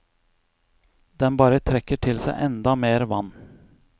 Den bare trekker til seg enda mer vann.